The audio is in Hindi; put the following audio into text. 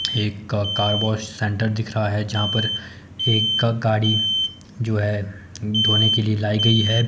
एक का कार वॉश सेंटर दिख रहा है यहां पर एक का गाड़ी जो है धोने के लिए लाई गई है।